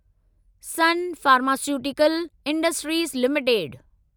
sun pharmaceuticals industries limited